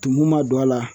Tumu ma don a la